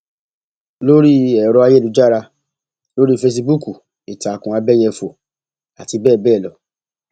lórí ẹ̀rọ ayélujára lórí fẹsibúùkù ìtàkùn àbẹyẹfọ àti bẹẹ bẹẹ lọ